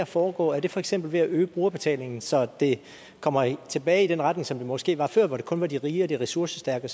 foregå er det for eksempel ved at øge brugerbetalingen så vi kommer tilbage i den retning som det måske var før hvor det kun var de rige og de ressourcestærke